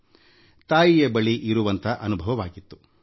ಆಗ ನನಗೆ ತಾಯಿಯ ಬಳಿ ಇರುವಂಥ ಅನುಭವವಾಗಿತ್ತು